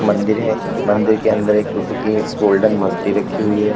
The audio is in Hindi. मंदिर है मंदिर के अंदर एक बुद्ध की गोल्डन मूर्ति रखी हुई है।